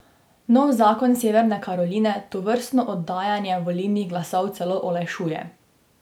Nov zakon Severne Karoline tovrstno oddajanje volilnih glasov celo olajšuje.